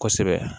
Kosɛbɛ